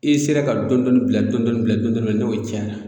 I sera ka dɔndɔni bila dɔndɔni bila dɔndɔni bila n'o cayara